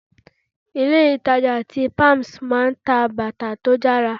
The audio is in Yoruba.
Ilé ìtàjà tí palms máa ń ta bàtà tó dára.